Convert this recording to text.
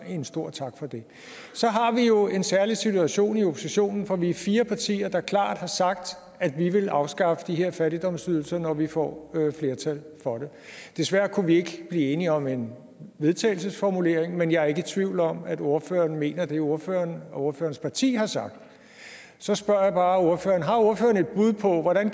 en stor tak for det så har vi jo en særlig situation i oppositionen for vi er fire partier der klart har sagt at vi vil afskaffe de her fattigdomsydelser når vi får flertal for det desværre kunne vi ikke blive enige om en vedtagelsesformulering men jeg er ikke i tvivl om at ordføreren mener det ordføreren og ordførerens parti har sagt så spørger jeg bare ordføreren har ordføreren et bud på hvordan